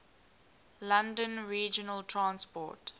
london regional transport